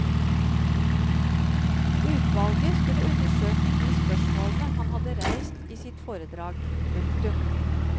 Utvalget skulle undersøke de spørsmålene han hadde reist i sitt foredrag. punktum